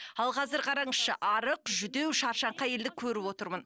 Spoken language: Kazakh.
ал қазір қараңызшы арық жүдеу шаршаңқы әйелді көріп отырмын